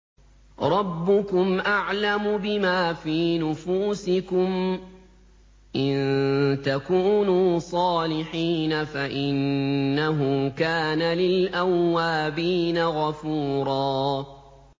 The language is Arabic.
رَّبُّكُمْ أَعْلَمُ بِمَا فِي نُفُوسِكُمْ ۚ إِن تَكُونُوا صَالِحِينَ فَإِنَّهُ كَانَ لِلْأَوَّابِينَ غَفُورًا